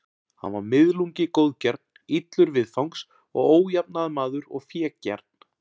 Hann var miðlungi góðgjarn, illur viðfangs og ójafnaðarmaður og fégjarn.